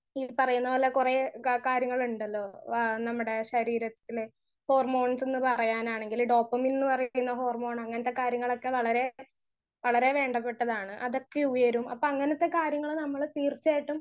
speaker 1 ഈ പറയുന്ന പോലെ കൊറേ കാ കാര്യങ്ങളുണ്ടലോ ആ നമ്മടെ ശരീരത്തിലെ ഹോർമോൺസ് ന്ന് പറയാഞ്ഞണെങ്കിൽ ഡോപാമിൻ ന്ന് പറയുന്ന ഹോർമോൺ അങ്ങനത്തെ കാര്യങ്ങളൊക്കെ വളരെ വളരെ വേണ്ടപെട്ടതാണ് അതൊക്കെ ഉയരും അപ്പൊ അങ്ങനത്തെ കാര്യങ്ങൾ നമ്മൾ തീർച്ചായിട്ടും